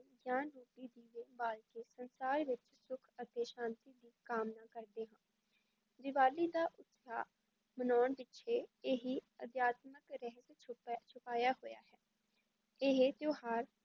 ਗਿਆਨ ਰੂਪੀ ਦੀਵੇ ਬਾਲ ਕੇ ਸੰਸਾਰ ਵਿੱਚ ਸੁੱਖ ਅਤੇ ਸ਼ਾਂਤੀ ਦਾ ਕਾਮਨਾ ਕਰਦੇ ਹਾਂ, ਦੀਵਾਲੀ ਦਾ ਉਤਸਾਹ ਮਨਾਉਣ ਪਿੱਛੇ ਇਹੀ ਅਧਿਆਤਮਕ ਰਹੱਸ ਛੁਪ~ ਛੁਪਾਇਆ ਹੋਇਆ ਹੈ, ਇਹ ਤਿਉਹਾਰ